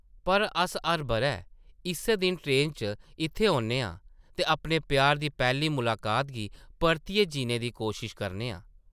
पर अस हर बʼरै इस्सै दिन ट्रेन च इत्थै औन्ने आं ते अपने प्यार दी पैह्ली मुलाकात गी परतियै जीने दी कोशश करने आं ।